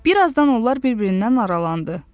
Bir azdan onlar bir-birindən aralandı.